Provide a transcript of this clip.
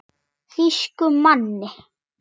Þýskum manni.